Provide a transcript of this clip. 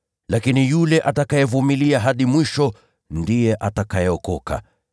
lakini yule atakayevumilia hadi mwisho ataokolewa.